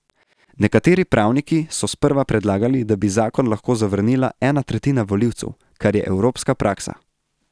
Nekateri pravniki so sprva predlagali, da bi zakon lahko zavrnila ena tretjina volilcev, kar je evropska praksa.